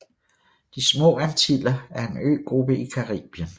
De Små Antiller er en øgruppe i Caribien